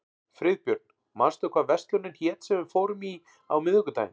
Friðbjörn, manstu hvað verslunin hét sem við fórum í á miðvikudaginn?